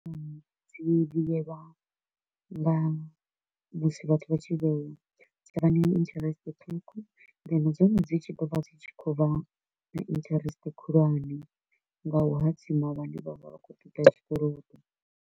Dzi vhuyelwa nga musi vhathu vha tshi vhea, dzi vha na interest ṱhukhu then dzone dzi tshi ḓovha dzi tshi kho u vha na interest khulwane nga u hadzima vhane vha vha vha kho u ṱoḓa tshikolodo.